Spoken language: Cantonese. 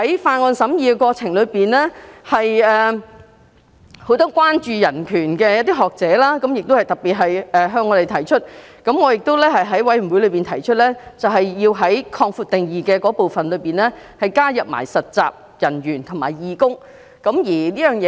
在審議《條例草案》的過程中，很多關注人權的學者都特別向我們提出這項關注，我亦在法案委員會中建議在"場所使用者"的定義加入實習人員和義工。